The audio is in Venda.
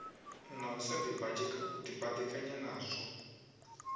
na u sa dibadekanya nazwo